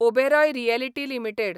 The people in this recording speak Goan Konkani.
Oberoi realty limited